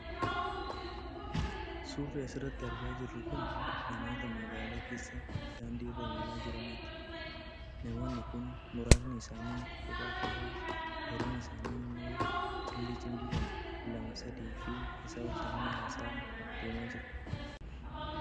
Suurri asirratti argaa jirru kun namoota magaalaa keessa daandii irra imalaa jiraaniti. Namoonni kun muraasni isaanii kopha kophaa, gariin isaanii immoo cimdii cimdiidhan lama, sadiifi isaa ol ta'anii haasa'aa. deemaa jiru.